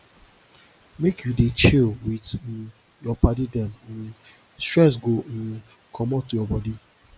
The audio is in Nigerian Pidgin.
make you dey chill wit um your paddy dem um stress go um comot your bodi